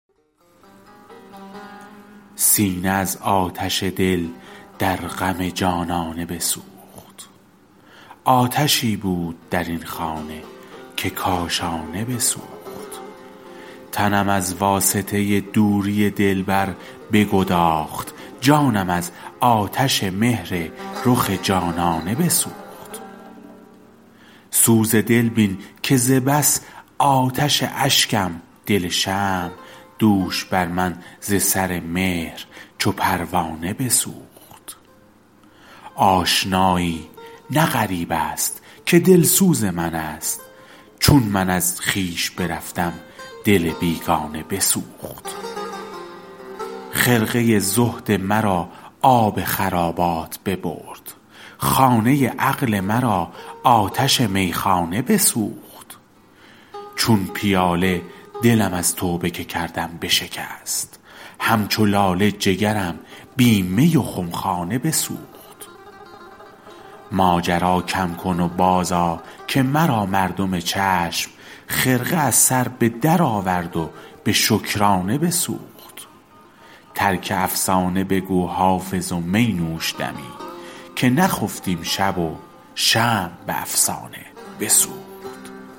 سینه از آتش دل در غم جانانه بسوخت آتشی بود در این خانه که کاشانه بسوخت تنم از واسطه دوری دلبر بگداخت جانم از آتش مهر رخ جانانه بسوخت سوز دل بین که ز بس آتش اشکم دل شمع دوش بر من ز سر مهر چو پروانه بسوخت آشنایی نه غریب است که دلسوز من است چون من از خویش برفتم دل بیگانه بسوخت خرقه زهد مرا آب خرابات ببرد خانه عقل مرا آتش میخانه بسوخت چون پیاله دلم از توبه که کردم بشکست همچو لاله جگرم بی می و خمخانه بسوخت ماجرا کم کن و بازآ که مرا مردم چشم خرقه از سر به درآورد و به شکرانه بسوخت ترک افسانه بگو حافظ و می نوش دمی که نخفتیم شب و شمع به افسانه بسوخت